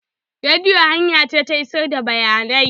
Rediyo hanya ce ta isar da bayanai.